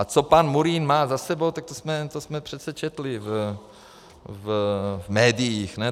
A co pan Murín má za sebou, tak to jsme přece četli v médiích.